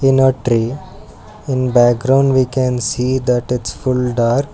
In a trey in background we can see that its full dark.